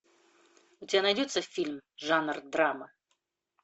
у тебя найдется фильм жанр драма